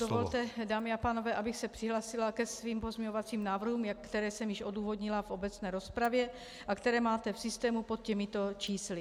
Dovolte, dámy a pánové, abych se přihlásila ke svým pozměňovacím návrhům, které jsem již odůvodnila v obecné rozpravě a které máte v systému pod těmito čísly.